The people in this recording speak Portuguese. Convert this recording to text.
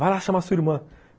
Vai lá chamar sua irmã.